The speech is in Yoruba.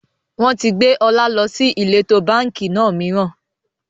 Wọn tí gbé ọ̀la lọ sí ìletò báńkì náà mìíràn